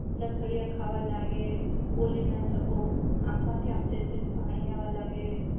લથડીયા ખાવા લાગે બોલી ના શકો આંખ માંથી આમ સેજ સેજ પાણી આવા લાગે